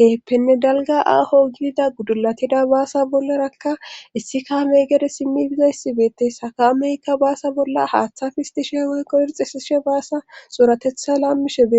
keeppenne dalga aaho gidida guddulatida baasa bollarakka issi kaamey gede simmi bizayssibeete sakameykka baasa bolla haaththa fistishee waykko hirxisishe baasa xuuratetha laammishe bee